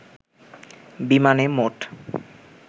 বিমানে মোট